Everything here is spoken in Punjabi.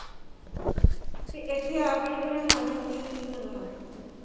ਤੇ ਇੱਥੇ ਆ ਕੇ ਇਹਨੇ ਸਾਡਾ ਕੀ ਕੀ ਕਰਵਾਤਾ